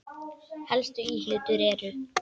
Helstu íhlutir eru